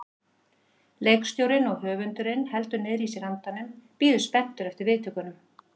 Leikstjórinn og höfundurinn heldur niðri í sér andanum, bíður spenntur eftir viðtökunum.